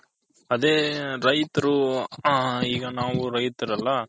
ಅದೇ ರೈತರು ಹ ಈಗ ನಾವು ರೈತರು ಅಲ್ಲ.